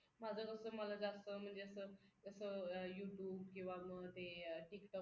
माझं कसं मला जास्त म्हणजे असं जसं you tube किंवा मग ते tik tok